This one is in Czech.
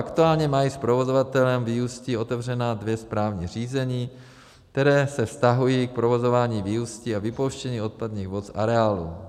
Aktuálně mají s provozovatelem výústí otevřená dvě správní řízení, která se vztahují k provozování výústí a vypouštění odpadních vod z areálu.